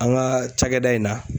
An ka cakɛda in na